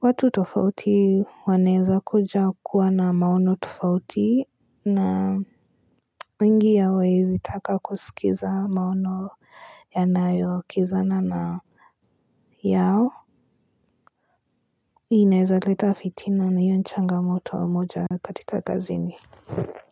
watu tofauti waneweza kuja kuwa na maono tofauti na wengi hawawezitaka kusikiza maono yanayokinzana na yao inaweza leta fitina na hiyo ni changamoto moja katika kazini.